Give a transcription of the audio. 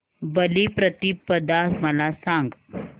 बलिप्रतिपदा मला सांग